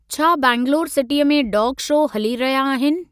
छा बैंगलौर सिटीअ में डॉग शो हली रहिया आहिनि।